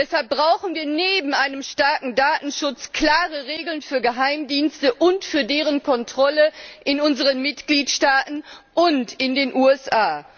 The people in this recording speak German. Deshalb brauchen wir neben einem starken Datenschutz klare Regeln für Geheimdienste und für deren Kontrolle in unseren Mitgliedstaaten und in den USA.